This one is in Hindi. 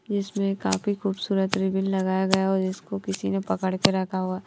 इसमें काफी खूबसूरत रिबन लगाया गया और इसको किसी ने पकड़ के रखा हुआ है।